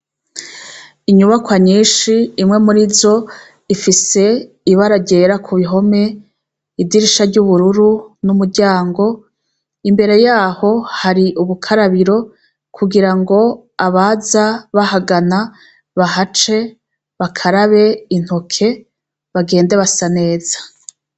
Inyubakwa nyinshi, imwe muri zo ifise ibara ryera ku bihome, idirisha ry'ubururu n'umuryango. Imbere yaho hari ubukarabiro kugira ngo abaza bahagana bahace, bakarabe intoke bagende basa neza.